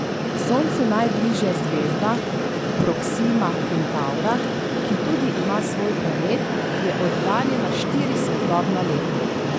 Soncu najbližja zvezda, Proksima Kentavra, ki tudi ima svoj planet, je oddaljena štiri svetlobna leta.